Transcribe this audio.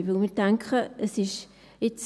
Denn wir denken, es ist ...